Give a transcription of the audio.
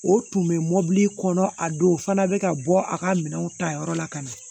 O tun bɛ mobili kɔnɔ a don fana bɛ ka bɔ a ka minɛnw ta yɔrɔ la ka na